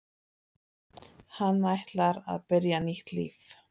Hann ætlar að byrja nýtt líf.